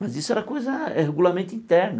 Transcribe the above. Mas isso era coisa é regulamento interno.